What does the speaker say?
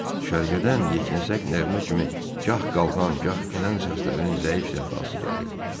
Düşərgədən yeknəsək nəğmə kimi gah qalxan, gah enən səslərin zəif sədası gəlirdi.